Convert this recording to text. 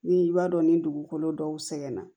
Ni i b'a dɔn ni dugukolo dɔw sɛgɛnna